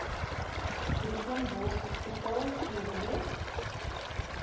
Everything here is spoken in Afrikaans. brooklyn borshospitaal tb